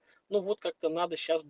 ну вот как-то надо сейчас